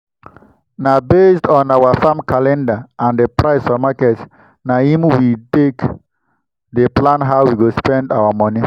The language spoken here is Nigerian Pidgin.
na based on our farm calendar and the price for market na him we take dey plan how we go spend our moni.